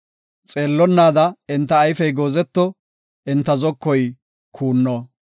Xeellonnaada enta ayfey goozeto; enta zokoy kuuno.